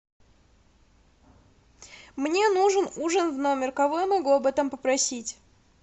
мне нужен ужин в номер кого я могу об этом попросить